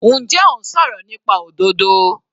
Njẹ́ ò ń sọ̀rọ̀ nípa òdodo?